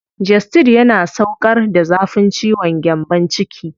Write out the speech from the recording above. Gestid yana sauƙar da zafin ciwon gyambon ciki.